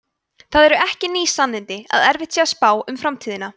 það eru ekki ný sannindi að erfitt sé að spá um framtíðina